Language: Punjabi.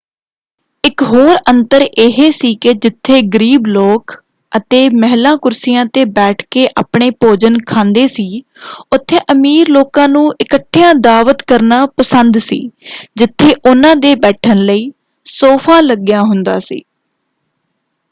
ਇੱਕ ਹੋਰ ਅੰਤਰ ਇਹ ਸੀ ਕਿ ਜਿੱਥੇ ਗਰੀਬ ਲੋਕ ਅਤੇ ਮਹਿਲਾ ਕੁਰਸੀਆਂ 'ਤੇ ਬੈਠ ਕੇ ਆਪਣੇ ਭੋਜਨ ਖਾਂਦੇ ਸੀ ਉੱਥੇ ਅਮੀਰ ਲੋਕਾਂ ਨੂੰ ਇਕੱਠਿਆਂ ਦਾਅਵਤ ਕਰਨਾ ਪਸੰਦ ਸੀ ਜਿੱਥੇ ਉਹਨਾਂ ਦੇ ਬੈਠਣ ਲਈ ਸੋਫ਼ਾ ਲੱਗਿਆ ਹੁੰਦਾ ਸੀ।